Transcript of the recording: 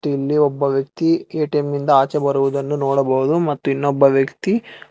ಇಲ್ಲಿ ಒಬ್ಬ ವ್ಯಕ್ತಿ ಎ_ಟಿ_ಎಂ ಇಂದ ಆಚೆ ಬರುವುದನ್ನು ನೋಡಬಹುದು ಮತ್ತು ಇನ್ನೊಬ್ಬ ವ್ಯಕ್ತಿ--